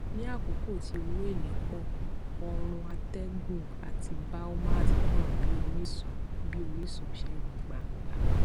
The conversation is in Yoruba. ní àkókò tí owó èlé pọ òòrùn atẹgùn àti biomass hàn bí orísun bí orísun ṣegun gbangba